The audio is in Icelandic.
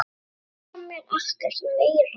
Þeir segja mér ekkert meira.